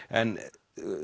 en